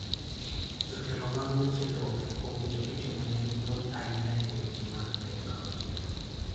jotelo mag weche lope owinjo itimonegi puonj ainyae weche mag teknolojia